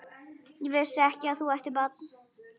Ég vissi ekki að þú ættir barn?